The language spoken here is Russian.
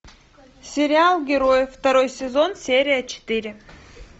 сериал герои второй сезон серия четыре